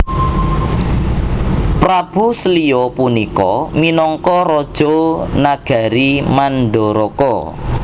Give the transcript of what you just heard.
Prabu Slya punika minangka raja nagari Mandaraka